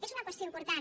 és una qüestió important